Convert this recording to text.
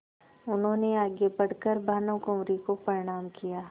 उन्होंने आगे बढ़ कर भानुकुँवरि को प्रणाम किया